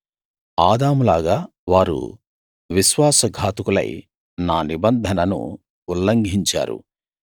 ఆదాములాగా వారు విశ్వాస ఘాతకులై నా నిబంధనను ఉల్లంఘించారు